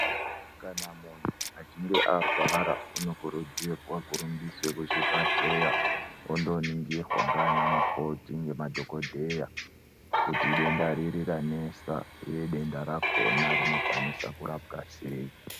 Kana munhu achinge arwara unokurudzirwa kurumbiswe kuchibhahleya ondoningirwa ngaana mukoti ngemadhogodheya kuti idenda riri ranesa uye denda rakona rinokwanise kurapwa sei.